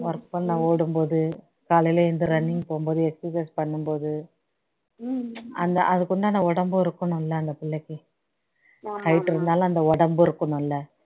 work பண்ண ஓடும்போது காலையில எழுந்து running போகும் போது exercise பண்ணும்போது அந்த அதுககுண்டான உடம்பும் இருக்கணும் இல்ல அந்த பிள்ளைக்கு height இருந்தாலும் அந்த உடம்பும் இருக்கணும் இல்ல